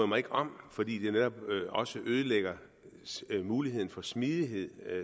mig ikke om fordi det netop også ødelægger muligheden for smidighed